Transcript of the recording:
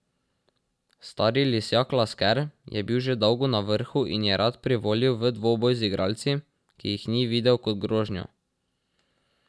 Stari lisjak Lasker je bil že dolgo na vrhu in je rad privolil v dvoboj z igralci, ki jih ni videl kot grožnjo.